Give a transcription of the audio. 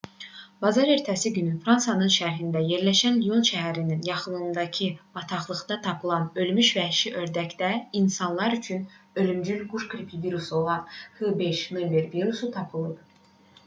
bazar ertəsi günü fransanın şərqində yerləşən lyon şəhərinin yaxınlığındakı bataqlıqda tapılan ölmüş vəhşi ördəkdə insanlar üçün ölümcül quş qripi virusu olan h5n1 virusu tapılıb